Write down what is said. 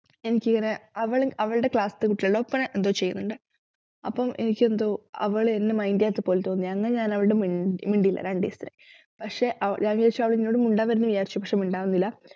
എനിക്കിങ്ങനെ അവള് അവളുടെ class ത്തെ കുട്ടികള് ഒപ്പന എന്തോ ചെയ്യുന്നുണ്ടെ അപ്പം എനിക്കെന്തോ അവളെന്നെ mind ചെയ്യാത്തപ്പോൽ തോന്നിയെ ഞാനവളോട് മിണ്ട മിണ്ടിയില്ല രണ്ടു ദിവസത്തേക്ക് പക്ഷെ അവ ഞാൻ വിചാരിച്ചു അവളെന്നോട് മിണ്ടാൻവരും ന്നു വിചാരിച്ചു പക്ഷെ മിണ്ടാൻ വന്നില്ല